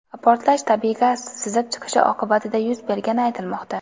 Portlash tabiiy gaz sizib chiqishi oqibatida yuz bergani aytilmoqda.